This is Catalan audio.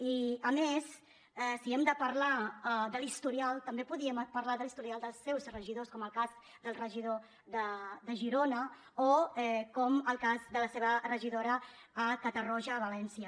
i a més si hem de parlar de l’historial també podríem parlar de l’historial dels seus regidors com el cas del regidor de girona o com el cas de la seva regidora a catarroja a valència